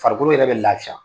Farikolo yɛrɛ bɛ lafiya